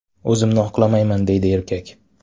O‘zimni oqlamayman”, deydi erkak.